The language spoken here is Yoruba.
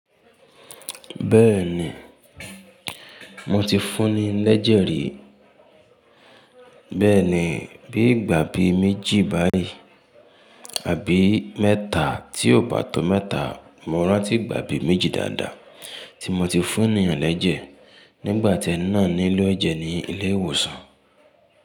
Bẹ́ẹ̀ni, mo ti fún ni lẹ́jẹ̀ rí. Bẹ́ẹ̀ni, bí i gbà bí méjì báyìí, àbí mẹ́ta tí ò bá tó mẹ́ta. Mo rántí ìgbà bí méjì dáadáa tí mo ti fún ènìyàn l'ẹ́jẹ̀ nígbà tí ẹni náà nílò ẹ́jẹ̀ ní ilé ìwòsàn.